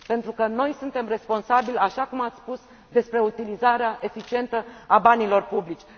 Pentru că noi suntem responsabili, așa cum ați spus, pentru utilizarea eficientă a banilor publici.